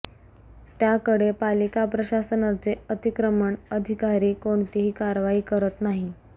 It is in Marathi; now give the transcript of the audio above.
त्याकडे पालिका प्रशासनाचे अतिक्रमण अधिकारी कोणतीही कारवाई करत नाही